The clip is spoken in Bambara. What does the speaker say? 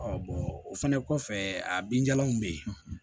o fɛnɛ kɔfɛ a binjalanw be ye